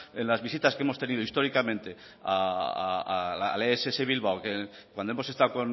en las visitas que hemos tenido históricamente a la ess bilbao cuando hemos estado